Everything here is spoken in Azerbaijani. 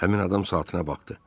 Həmin adam saatına baxdı.